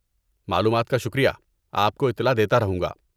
معلومات کا شکریہ، آپ کو اطلاع دیتا رہوں گا۔